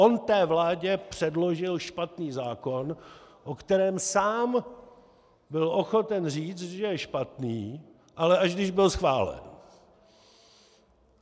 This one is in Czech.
On té vládě předložil špatný zákon, o kterém sám byl ochoten říct, že je špatný, ale až když byl schválen!